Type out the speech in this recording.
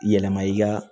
Yɛlɛma i ka